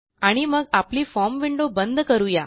आणि मग आपली फॉर्म विंडो बंद करू या